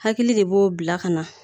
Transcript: Hakili de b'o bila ka na